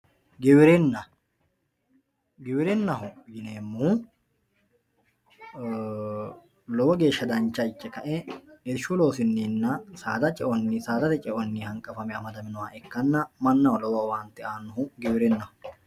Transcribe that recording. Giwirinna giwirinaho yineemohu lowo geesha dancha ike kae irshu loosinina sada ceo saadate ceoni hanqafame amadaminoha manaho lowo owaante aanohu giwirinaho.